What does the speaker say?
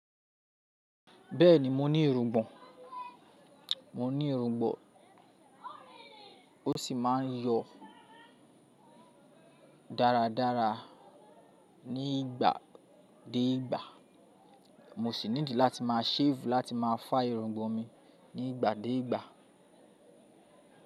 Bẹ́ẹ̀ni mo ní irungbọ̀n, mo ní irungbọ̀n, ó sì máa ń yọ dáradára ní ìgbà dé ìgbà. Mo sì need láti máa shave láti máa fa irungbọ̀n mi ní ìgbà dé ìgbà.